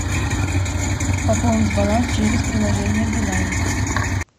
пополнить баланс через приложение билайн